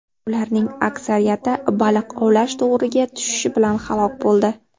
Ularning aksariyati baliq ovlash to‘riga tushishi bilan halok bo‘ldi.